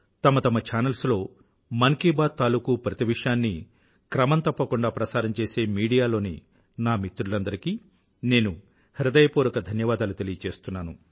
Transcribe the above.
తమ తమ ఛానల్స్ లో మన్ కీ బాత్ తాలూకూ ప్రతి విషయాన్నీ క్రమం తప్పకుండా ప్రసారం చేసే మీడియాలోని నా మిత్రులందరికీ నేను హృదయపూర్వక ధన్యవాదాలు తెలియచేస్తున్నాను